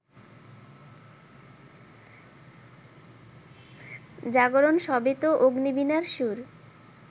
জাগরণ সবই তো অগ্নিবীণার সুর